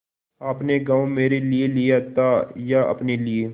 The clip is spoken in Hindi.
आपने गॉँव मेरे लिये लिया था या अपने लिए